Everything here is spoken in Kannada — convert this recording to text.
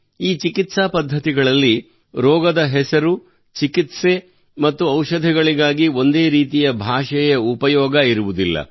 ಈ ಚಿಕಿತ್ಸಾ ಪದ್ಧತಿಗಳಲ್ಲಿ ರೋಗದ ಹೆಸರು ಚಿಕಿತ್ಸೆ ಮತ್ತು ಔಷಧಗಳಿಗಾಗಿ ಒಂದೇ ರೀತಿಯ ಭಾಷೆಯ ಉಪಯೋಗ ಇರುವುದಿಲ್ಲ